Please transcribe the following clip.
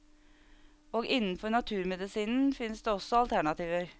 Og innenfor naturmedisinen finnes det også alternativer.